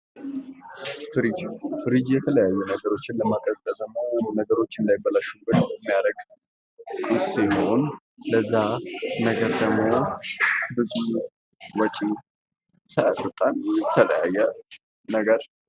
ፍሪጅ፦ ፍሪጅ የተለታዩ ነገሮችን ከማቀዘቀዝ እና ነገሮች እንዳይበላሹ የሚያደርግ ሲሆን ለዚያ ነገር ደግሞ ብዙ ወጭን ሳይስወጣን የተለያየ ነገር ...